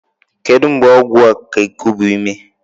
Kedu mgbe ọgwụ ga-ekubi ume?